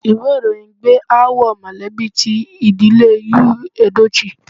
Ìwé ìròyìn gbé aáwọ̀ mọ̀lẹ́bí ti ìdílé Yul Edochie.